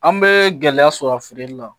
An bɛ gɛlɛya sɔrɔ a feereli la